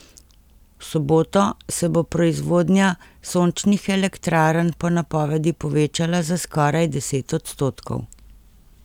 V soboto se bo proizvodnja sončnih elektrarn po napovedi povečala za skoraj deset odstotkov.